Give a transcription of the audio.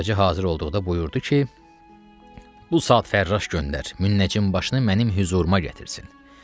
Xacə hazır olduqda buyurdu ki, bu saat fərraş göndər, münnəcim başını mənim hüzuruma gətirsin.